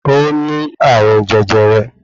Ó ní àrùn jẹjẹrẹ